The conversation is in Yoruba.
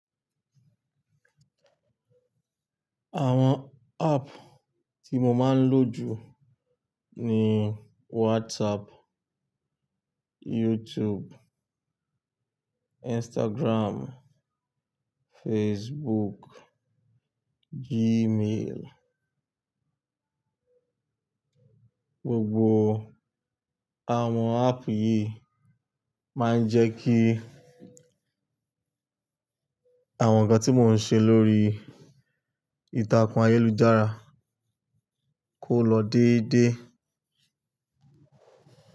Àwọn app tí mo máa ń lò jù ni WhatsApp, YouTube, Instagram, Facebook, Gmail. Gbogbo àwọn app yìí máa ń jẹ́ kí àwọn nǹkan tí mò ń ṣe lórí ìtàkùn ayélujára kó lọ déédé.